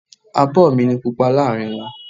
Abo mi ni Pupa láàárín wọn.